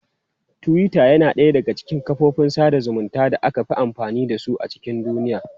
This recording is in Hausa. Twitter yana ɗaya daga cikin kafofin sada zumunci da aka fi amfani da su a cikin duniya.